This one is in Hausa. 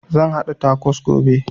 Zan haɗa takos gobe